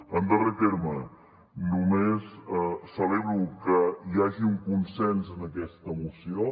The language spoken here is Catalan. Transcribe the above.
en darrer terme només celebro que hi hagi un consens en aquesta moció